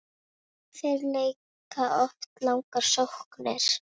Þeir leika oft langar sóknir.